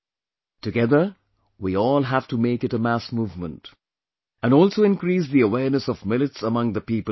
Together we all have to make it a mass movement, and also increase the awareness of Millets among the people of the country